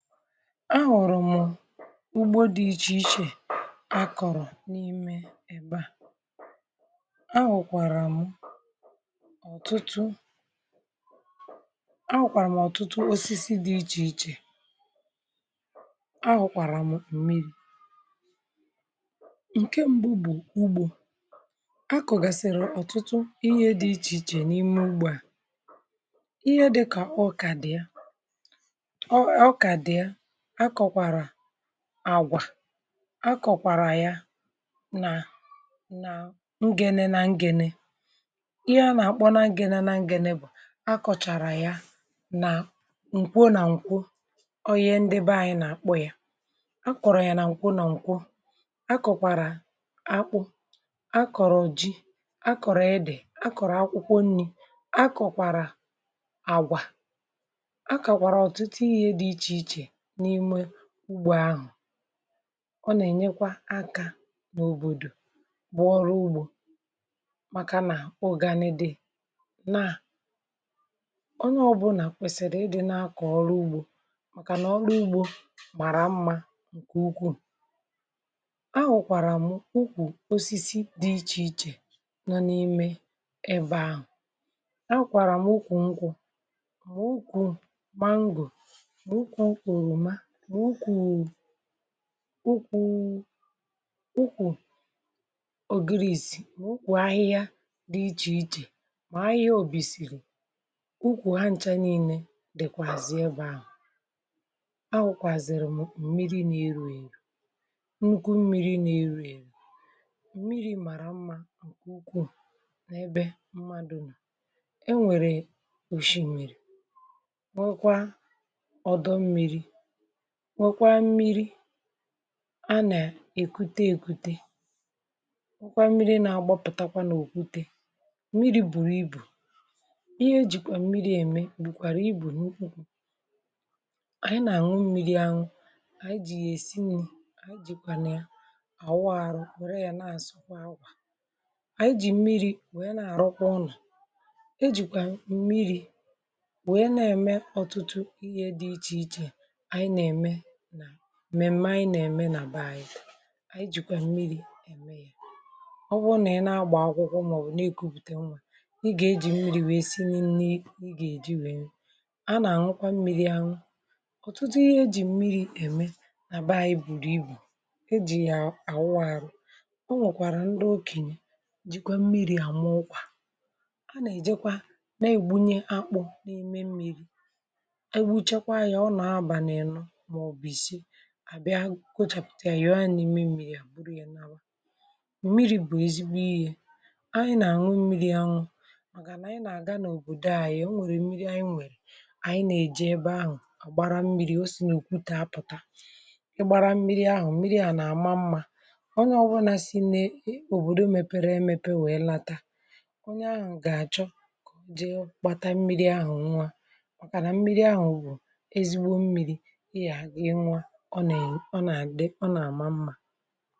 ugbȯ di ichèichè akọ̀rọ̀ n’ime ebe à ahụ̀kwàrà m ọ̀tụtụ akwàrà m ọ̀tụtụ osisi di ichèichè ahụ̀kwàrà m mmiri ǹke mbu ugbò akọ̀gàsìrì ọ̀tụtụ ihe di ichèichè n’ime ugbò à um ihe di kà ọ kà di ya àgwà akọ̀kwàrà ya nà ngenė nà ngenė ihe a nà-àkpọ nà ngenė nà ngenė bụ̀ akọ̀chàrà ya nà ǹkwo nà ǹkwo ọọ ihe ndịbe anyị nà-àkpọ ya akọ̀rọ̀ ya nà ǹkwo nà ǹkwo akọ̀kwàrà akpụ akọ̀rọ̀ oji akọ̀rọ̀ edè akọ̀rọ̀ akwụkwọ nni̇ akọ̀kwàrà àgwà n’ime ugbȯ ahụ̀ ọ nà-ènyekwa aka n’òbòdò bụ ọrụ ugbȯ màkà nà ogànidi na onye ọbụlà kwèsìrì ịdị̇ na-akọ̀ ọrụ ugbȯ màkànà ọrụ ugbȯ màrà mmȧ ǹkè ukwuù um ahụ̀kwàrà m ụkwụ̀ osisi dị ichè ichè nọ n’ime ebe ahụ̀ akwàrà m ụkwụ̀ nkwụ̇ mà ụkwụ̀ mango ukwù ukwù ògiri ìsì mà ukwù ahịhịa dị ichè ichè mà ahịhịa òbìsìrì ukwù ha ǹcha niilė dèkwàzì ebe ahụ̀ akwụkwàzìrì m mmiri na erù erù nnukwu mmiri na erù èrù mmiri màrà mma ukwù n’ebe mmadù mà e nwèrè òshi mèrè nwekwa ọdọ mmiri nwekwa mmiri a nà èkwute èkwute hụkwa mmiri nà agbọ pụtakwa n’òkwụte um mmiri bùrù ibù ihe e jìkwà mmiri ème bùkwàrà ibù n’ukwù ànyi nà àṅụ mmiri àṅụ ànyi jì yà èsi nni̇ ànyi jì kwànụ ya àwụ arụ wèrè ya nà àsụkwa àwà ànyi jì mmiri wèe nà àrọkwa ụnọ̀ e jìkwà mmiri̇ wèe nà ème ọtụtụ ihe dị ịchì ịchè mèmeme anyị nà-ème n’àba yi̇̇ anyị jìkwà mmiri̇ ème yȧ ọwụ nà ị nà-agbà akwụkwọ màọbụ̀ nà èkopùte nwȧ ị gà-ejì mmiri̇ wèe si n’ịnni nà ị gà-èji wèe na-àñụkwa mmiri̇ àhụ um ọ̀tụtụ ihe ejì mmiri̇ ème n’àba yi̇ buru ibù ejì yà àwụ arụ̇ o nwèkwàrà ndị okènyè jìkwe mmiri̇ àmụ okwà a nà-èjekwa na-ègbunye akpụ̇ n’ime mmiri̇ àbịa kwochàpụ̀tà ya yòo ana m̀miri à gburu ya n’àlà m̀miri̇ bụ̀ ezigbo yȧ anyị nà anwụ mmiri anwụ̇ màgà nà anyị nà-àga n’òbòdo anyị o nwèrè mmiri anyị nwèrè ànyị nà-èji ebe ahụ̀ àgbara mmiri o si n’ùkwu ta apụ̀ta ị gbara mmiri ahụ̀ mmiri à nà-àma mmȧ onye ọ̀gwụna si n’e òbòdò mepere emepe wèe lata onye ahụ̀ gà-àchọ kà o jee kpata mmiri ahụ̀ nwa um màkànà mmiri ahụ̀ bụ̀ ezigbo mmiri ọ nà-àgide ọ nà-àma mmȧ